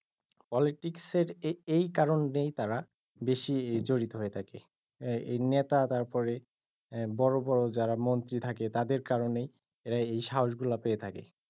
politics এর এই কারনেই তারা বেশি জড়িত হয়ে থাকে এই নেতা তারপরে বড় বড় যারা মন্ত্রি থাকে তাদের কারনেই তার এই সাহস গুলা পেয়ে থাকে।